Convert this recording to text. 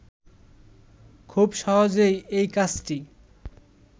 খুব সহজেই এই কাজটি